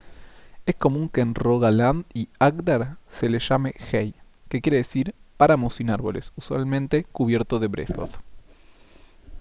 es común que en rogaland y agder se les llame hei que quiere decir páramo sin árboles usualmente cubierto de brezos